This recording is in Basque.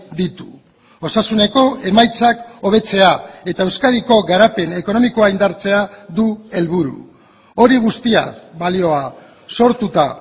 ditu osasuneko emaitzak hobetzea eta euskadiko garapen ekonomikoa indartzea du helburu hori guztia balioa sortuta